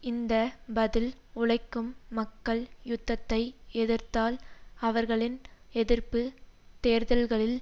இந்த பதில் உழைக்கும் மக்கள் யுத்தத்தை எதிர்த்தால் அவர்களின் எதிர்ப்பு தேர்தல்களில்